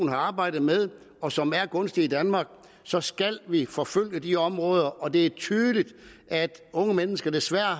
har arbejdet med at og som er gunstig i danmark så skal vi forfølge de områder og det er tydeligt at unge mennesker desværre